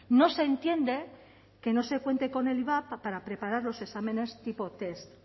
no se entiende que no se cuente con el ivap para preparar los exámenes tipo test